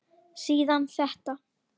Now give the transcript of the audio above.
Síðan þetta